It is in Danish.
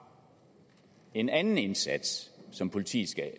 en anden indsats som politiet